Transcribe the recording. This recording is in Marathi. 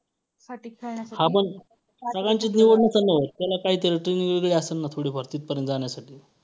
हां मग सगळ्यांचीच निवड नसेल ना होत, त्याला काहीतरी training वेगळी असेल ना थोडीफार तिथपर्यंत जाण्यासाठी.